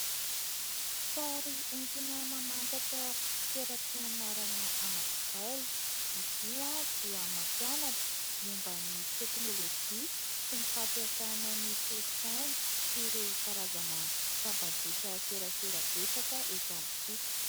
Sary entina mamantatra toeram-pianarana anankiray. Izy io dia mampianatra momban'ny teknôlôjia sy ny fampiasana ny solosaina sy ireo karazana tambazotra serasera betsaka eto amintsika.